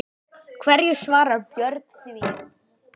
Hverju svarar Björn því?